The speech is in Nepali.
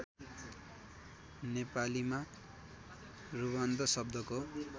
नेपालीमा रुबन्ध शब्दको